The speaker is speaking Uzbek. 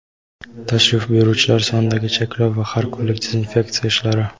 tashrif buyuruvchilar sonidagi cheklov va har kunlik dezinfeksiya ishlari.